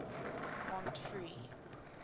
montfree